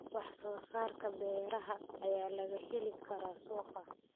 Wax soo saarka beeraha ayaa laga heli karaa suuqa.